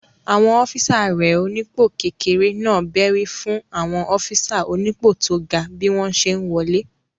Àwọn ọ́físà rẹ̀ onípò kékeré náà bẹ́rí fún àwọn ọ́físà onípò tó ga bí wọ́n ṣe n wọlé